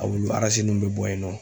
A wulu arasi nun bɛ bɔ yen nɔ.